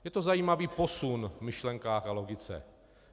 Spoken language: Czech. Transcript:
Je to zajímavý posun v myšlenkách a logice.